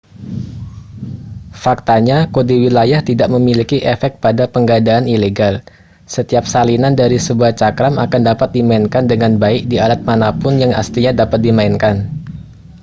faktanya kode wilayah tidak memiliki efek pada penggandaan ilegal setiap salinan dari sebuah cakram akan dapat dimainkan dengan baik di alat manapun yang aslinya dapat dimainkan